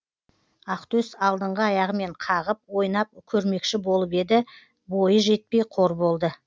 ақтөс алдыңғы аяғымен қағып ойнап көрмекші болып еді бойы жетпей қор болды